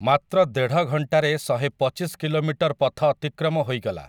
ମାତ୍ର ଦେଢ଼ ଘଣ୍ଟାରେ ଶହେ ପଚିଶ କିଲୋମିଟର ପଥ ଅତିକ୍ରମ ହେଇଗଲା ।